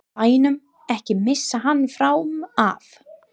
BÆNUM, EKKI MISSA HANN FRAM AF!